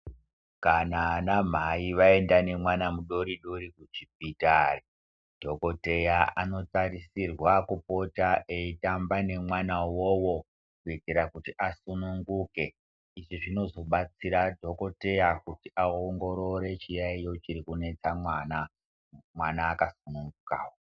Kana ana mhai vaenda nemwana mudori-dori kuchipitari dhokoteya anotarisirwa kupota eitamba nemwana vovo kuitira kuti asununguke. Izvi zvinozobatsira dhokoteya kuti aongorore chiyaiyo chiri kunetsa mwana, mwana akasunungukavo.